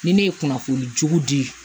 Ni ne ye kunnafoni jugu di